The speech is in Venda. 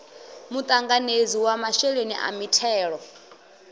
muṱanganedzi wa masheleni a mithelo